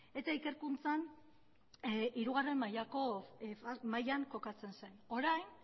eta ikerkuntzan hirugarrena mailan kokatzen zen orain